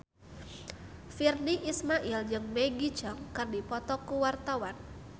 Virnie Ismail jeung Maggie Cheung keur dipoto ku wartawan